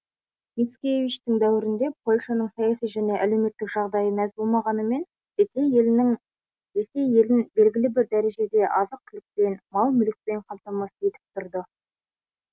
мицкевичтің дәуірінде польшаның саяси және әлеуметтік жағдайы мәз болмағанымен ресей елін белгілі бір дәрежеде азық түлікпен мал мүлікпен қамтамасыз етіп тұрды